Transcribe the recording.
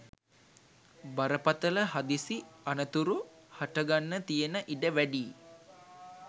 බරපතළ හදිසි අනතුරු හට ගන්න තියෙන ඉඩ වැඩියි.